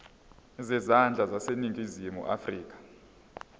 zezandla zaseningizimu afrika